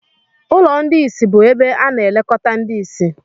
ụlọ ndị ìsì bụ ebe a na-elekọta ndị ìsì